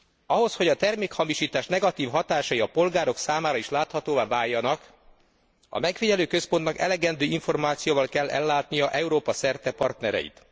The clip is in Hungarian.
Ahhoz, hogy a termékhamisítás negatív hatásai a polgárok számára is láthatóvá váljanak, a megfigyelőközpontnak elegendő információval kell ellátnia Európa szerte partnereit.